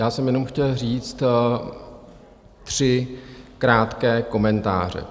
Já jsem jenom chtěl říct tři krátké komentáře.